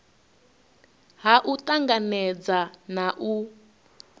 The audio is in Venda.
ha u tanganedza na u